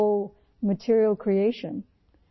تمام ماد ی تخلیق کا وسیلہ ہے